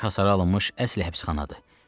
Daş hasara alınmış əsl həbsxanadır.